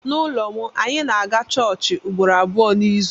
N’ụlọ m, anyị na-aga chọọchị ugboro abụọ n’izu.